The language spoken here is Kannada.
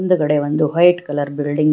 ಇದುರುಗಡೆ ಒಂದು ವೈಟ್ ಕಲರ್ ಬಿಲ್ಡಿಂಗ್ --